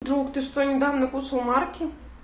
друг ты что недавно кушал марки